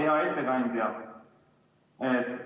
Hea ettekandja!